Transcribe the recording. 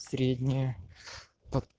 средняя по